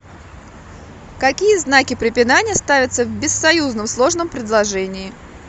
какие знаки препинания ставятся в бессоюзном сложном предложении